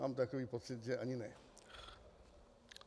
Mám takový pocit, že ani ne.